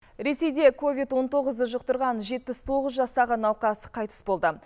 ресейде ковид он тоғыз жұқтырған жетпіс тоғыз жастағы науқас қайтыс болды